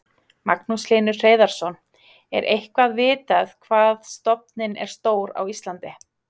Magnús Hlynur Hreiðarsson: Er eitthvað vitað hvað stofninn er stór á Íslandi?